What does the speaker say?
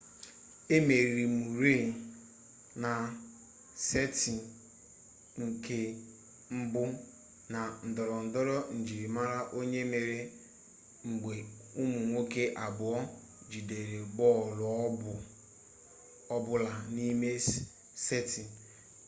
emeriri murray na seti nke mbu na ndorondoro njirimara onye mmeri mgbe umu nwoke abuo jidere bolu ọ bụla n'ime setị